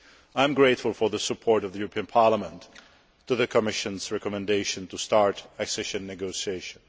I am grateful for the support of the European Parliament for the Commission's recommendation to start accession negotiations.